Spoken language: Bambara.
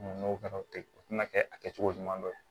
N'o kɛra o tɛ o tɛna kɛ a kɛcogo ɲuman dɔ ye